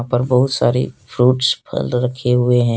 और बहुत सारे फ्रूट्स फल रखे हुए हैं।